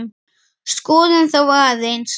Skoðum þá aðeins.